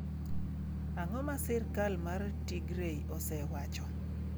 Ang’o ma sirkal mar Tigray osewacho?